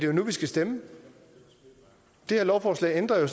jo nu vi skal stemme og det her lovforslag ændrer